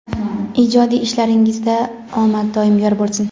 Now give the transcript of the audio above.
Ijodiy ishlaringizda omad doim yor bo‘lsin.